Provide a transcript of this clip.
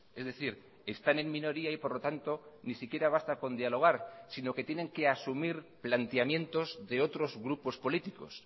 es decir están en minoría y por lo tanto ni siquiera basta con dialogar sino que tienen que asumir planteamientos de otros grupos políticos